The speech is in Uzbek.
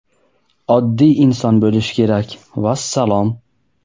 Oddiy inson bo‘lish kerak, vassalom.